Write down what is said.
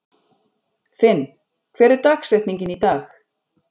Finn, hver er dagsetningin í dag?